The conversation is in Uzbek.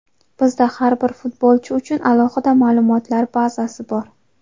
Bizda har bir futbolchi uchun alohida ma’lumotlar bazasi bor.